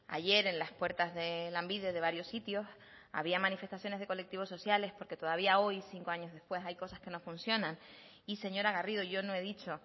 ayer en las puertas de lanbide de varios sitios había manifestaciones de colectivos sociales porque todavía hoy cinco años después hay cosas que no funcionan y señora garrido yo no he dicho